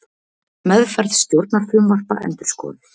Meðferð stjórnarfrumvarpa endurskoðuð